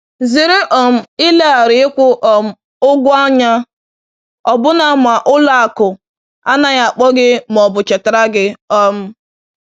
Zere um ileghara ịkwụ um ụgwọ anya ọbụna ma ụlọ akụ anaghị akpọ gị ma ọ bụ chetara gị. um